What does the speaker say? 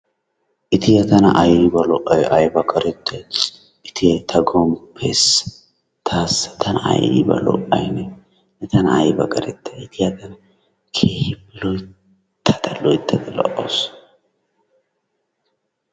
Ittiyaa tana ayba lo'ay aybaa qarettay Ittiyee ta gompessa tasa tana ayba lo'ay nee, ne tana ayba qarettay Ittiyaa kehippe loyttada loyttada lo'awusu.